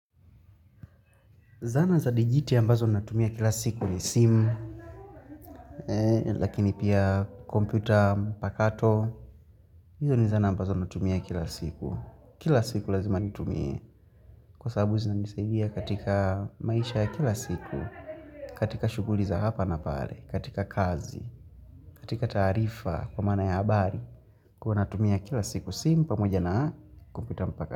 Zana za digiti ambazo natumia kila siku ni simu, lakini pia kompyuta mpakato. Hizo ni zana mbazo natumia kila siku. Kila siku lazima nitumie kwa sababu zinanisaidia katika maisha ya kila siku, katika shughuli za hapa na pale, katika kazi, katika taarifa kwa maana ya habari. Huwa natumia kila siku simu pamoja na kompyuta mpakato.